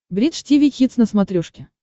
бридж тиви хитс на смотрешке